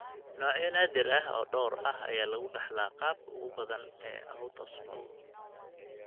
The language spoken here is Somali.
Noocyo naadir ah oo dhowr ah ayaa lagu dhaxlaa qaabka ugu badan ee autosomal.